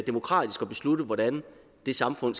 demokratisk at beslutte hvordan det samfund